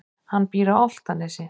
Hann býr á Álftanesi.